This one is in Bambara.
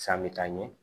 San bɛ taa ɲɛ